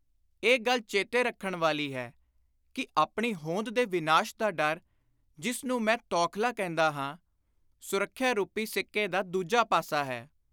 ਇਹ ਗੱਲ ਚੇਤੇ ਰੱਖਣ ਵਾਲੀ ਹੈ ਕਿ ਆਪਣੀ ਹੋਂਦ ਦੇ ਵਿਨਾਸ਼ ਦਾ ਡਰ, ਜਿਸ ਨੂੰ ਮੈਂ ਤੌਖਲਾ ਕਹਿੰਦਾ ਹਾਂ, ਸੁਰੱਖਿਆ ਰੂਪੀ ਸਿੱਕੇ ਦਾ ਦੁਜਾ ਪਾਸਾ ਹੈ।